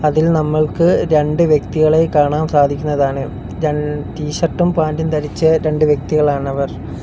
ഇതിൽ നമ്മൾക്ക് രണ്ട് വ്യക്തികളെ കാണാം സാധിക്കുന്നതാണ് രൺ ടി ഷർട്ടും പാൻ്റും ധരിച്ച രണ്ട് വ്യക്തികളാണവർ.